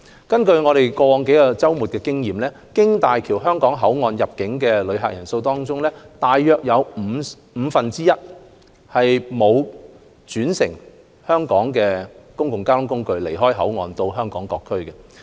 根據過去數個周末的經驗，經大橋香港口岸入境的旅客人次中，約有五分之一沒有轉乘本港的公共交通工具離開口岸到香港各區。